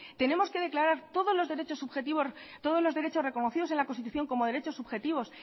tenemos que declarar todos los derechos subjetivos todos los derechos reconocidos en la constitución como derechos subjetivos